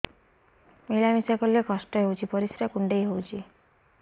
ମିଳା ମିଶା କଲେ କଷ୍ଟ ହେଉଚି ପରିସ୍ରା କୁଣ୍ଡେଇ ହଉଚି